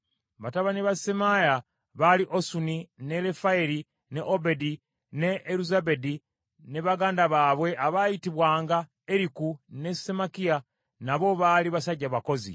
Batabani ba Semaaya baali Osuni, ne Lefayeri, ne Obedi ne Eruzabadi, ne baganda baabwe abaayitibwanga Eriku ne Semakiya nabo baali basajja bakozi.